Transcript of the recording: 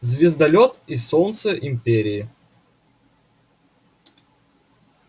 звездолёт и солнце империи